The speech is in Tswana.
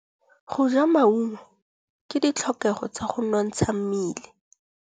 Go ja maungo ke ditlhokegô tsa go nontsha mmele.